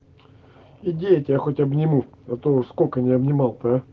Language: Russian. иди я тебя хоть обниму а то уж сколько не обнимал-то а